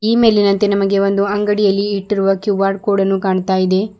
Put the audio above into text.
ಈ ಮೇಲಿನಂತೆ ನಮಗೆ ಒಂದು ಅಂಗಡಿಯಲ್ಲಿ ಇಟ್ಟಿರುವ ಕ್ಯೂ_ಆರ್ ಕೋಡ್ ಅನ್ನು ಕಾಣ್ತಾ ಇದೆ.